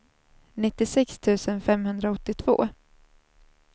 nittiosex tusen femhundraåttiotvå